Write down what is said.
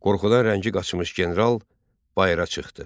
Qorxudan rəngi qaçmış general bayıra çıxdı.